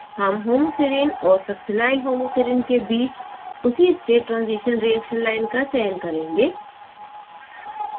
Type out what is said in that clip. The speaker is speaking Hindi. हम homoserine और succinylhomoserine के बीच उसी state transition reaction line का चयन करेंगें